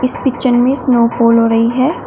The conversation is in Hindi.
इस पिक्चर में स्नो फॉल हो रही है।